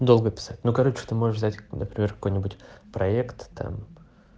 долго писать ну короче ты можешь взять например какой-нибудь проектом